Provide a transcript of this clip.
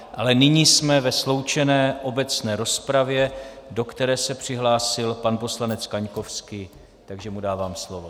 Ale nyní jsme ve sloučené obecné rozpravě, do které se přihlásil pan poslanec Kaňkovský, takže mu dávám slovo.